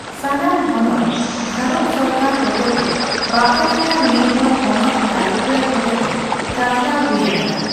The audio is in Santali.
ᱥᱟᱱᱟᱢ ᱦᱚᱱᱚᱛ ᱵᱷᱟᱨᱚᱛ ᱥᱚᱨᱠᱟᱨ ᱦᱚᱛᱮᱛᱮ ᱵᱟᱦᱟᱞ ᱟᱠᱟᱱ ᱢᱤᱫᱦᱚᱲ ᱦᱚᱱᱚᱛ ᱠᱟᱞᱮᱠᱴᱚᱨ ᱦᱚᱛᱮᱛᱮ ᱪᱟᱪᱟᱞᱟᱣ ᱦᱩᱭ ᱟᱠᱟᱱᱟ ᱾